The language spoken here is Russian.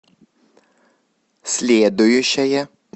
следующая